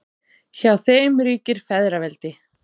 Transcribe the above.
Hjá þeim ríkir feðraveldi.